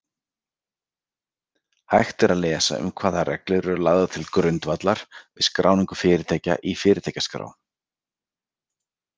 Hægt er lesa um hvaða reglur eru lagðar til grundvallar við skráningu fyrirtækja í Fyrirtækjaskrá.